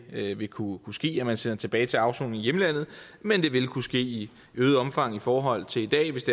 her vil kunne ske altså at man sender tilbage til afsoning i hjemlandet men det vil kunne ske i øget omfang i forhold til i dag hvis